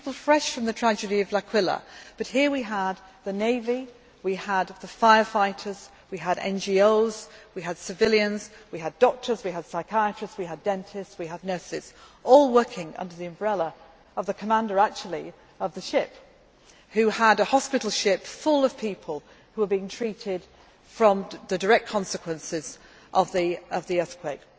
People fresh from the tragedy of Aquila, but here we had the navy, we had the fire fighters, we had NGOs, we had civilians, we had doctors, we had psychiatrists, we had dentists, we had nurses, all working under the umbrella of the commander, actually, of the ship who had a hospital ship full of people who were being treated from the direct consequences of the earthquake.